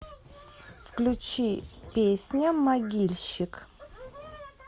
включи песня могильщик